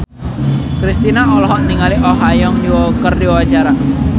Kristina olohok ningali Oh Ha Young keur diwawancara